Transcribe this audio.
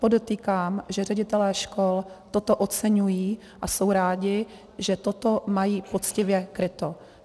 Podotýkám, že ředitelé škol toto oceňují a jsou rádi, že toto mají poctivě kryto.